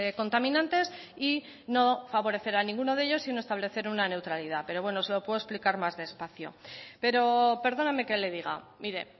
contaminantes y no favorecer a ninguno de ellos sino establecer una neutralidad pero bueno se lo puedo explicar más despacio pero perdóneme que le diga mire